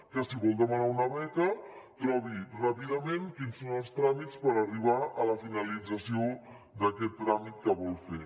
que si vol demanar una beca trobi ràpidament quins són els tràmits per arribar a la finalització d’aquest tràmit que vol fer